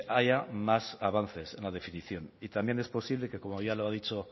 haya más avances en la definición y también es posible que como ya lo ha dicho